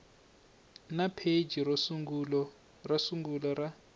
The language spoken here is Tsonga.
na pheji ro sungula ra